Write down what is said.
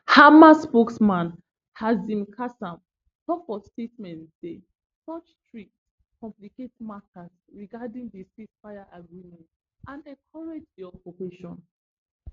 hamas spokesman hazem qassem tok for statement say such threats complicate matters regarding di ceasefire agreement and encourage di occupation